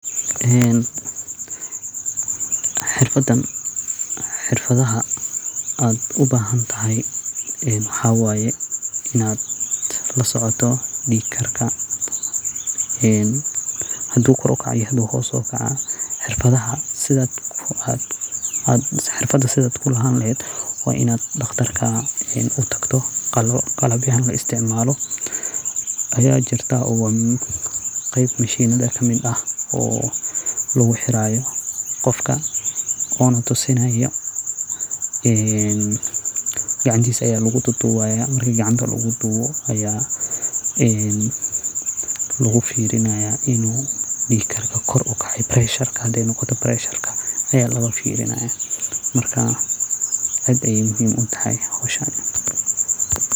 Xirfadan xirdaha ad ubahantahay waxa waye in ad lasocoto dhiig karka hadu kor ukoco ama hoos oo xirfadan sida kulahani lehed wa in ad daqtar utagto oo qalab loisticmalo aya kirta oo wa qeyb mashinada kamid ah oo luguxirayo qofka ona tusinayo ee gacantisa aya luguxiraya marki luguxiro inii uu beresharka koor ukece marka aad ayey muhiim utahay howshan.